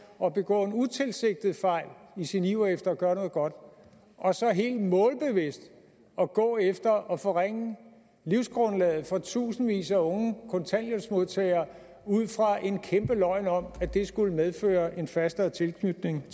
at begå en utilsigtet fejl i sin iver efter gøre noget godt og så helt målbevidst at gå efter at forringe livsgrundlaget for tusindvis af unge kontanthjælpsmodtagere ud fra en kæmpe løgn om at det skulle medføre en fastere tilknytning